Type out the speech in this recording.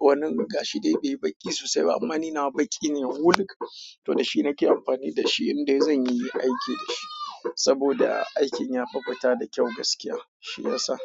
wani gashi dai-dai baƙi sosai. Amma ni nawa baƙi ne, wuluk. To da shi nake amfani da shi, inda zan yi aiki da shi. Saboda aikin yafi fita da kyau gaskiya, shi ya sa.